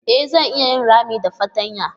E zata iya yin rami da fartanyar.